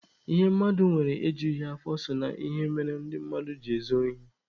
Ihe mmadụ nwere ejughị ya afọ so na ihe mmere ndị mmadụ ji ezu ohi.